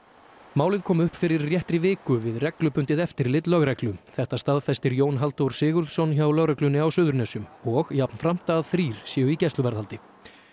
málið kom upp fyrir réttri viku við reglubundið eftirlit lögreglu þetta staðfestir Jón Halldór Sigurðsson hjá lögreglunni á Suðurnesjum og jafnframt að þrír séu í gæsluvarðhaldi